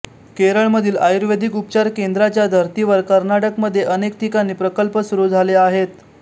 केरळ मधील आयुर्वेदिक उपचार केंद्रांच्या धर्तीवर कर्नाटक मध्ये अनेक ठिकाणी प्रकल्प सुरू झाले आहेत